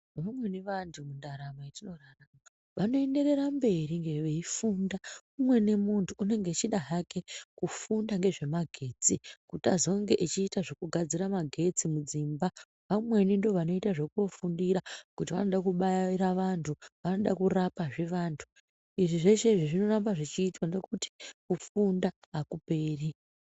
Vamweni vantu mundaramo dzoo vanoenderera mberi veifunda umweni muntu unenge echida hake kufunda ngezvemagetsi kuti azonge echiita zvokugadzira magetsi mudzimba vamweni ndoo vanoita xvokufundira kuti vanobaira vantu, vanoda kurapa zvee vantu, izvi zvinoda kuramba zveitwa nokuti kufunda akuperi.